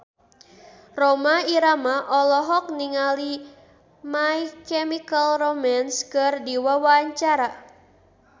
Rhoma Irama olohok ningali My Chemical Romance keur diwawancara